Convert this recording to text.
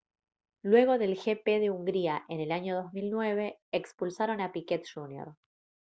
luego del gp de hungría en el año 2009 expulsaron a piquet jr